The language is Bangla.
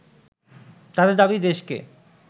তাদের দাবি দেশকে